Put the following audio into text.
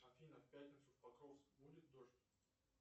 афина в пятницу в покровске будет дождь